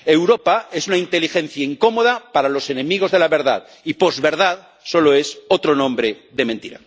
Europa es una inteligencia incómoda para los enemigos de la verdad, y posverdad solo es otro nombre de mentira.